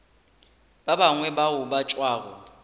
ba bangwe bao ba tšwago